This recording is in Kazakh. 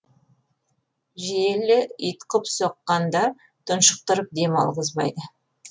желі ұйтқып соққанда тұншықтырып дем алғызбайды